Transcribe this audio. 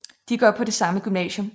De går på det samme gymnasium